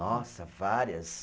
Nossa, várias.